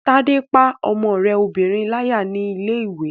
Tádé pá ọmọ rẹ obìnrin láyà ní ilé-ìwé